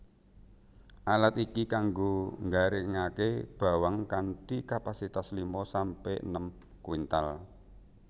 Alat iki kanggo nggaringaké bawang kanthi kapasitas lima sampe enem kuintal